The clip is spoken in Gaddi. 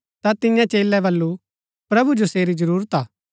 ता तियें चेलै वलु प्रभु जो सेरी जरूरत हा